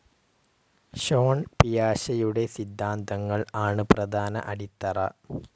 Sean പിയാഷെയുടെ സിദ്ധാന്തങ്ങൾ ആണ് പ്രധാന അടിത്തറ.